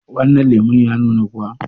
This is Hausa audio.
wannan lemon ya nuna kuwa?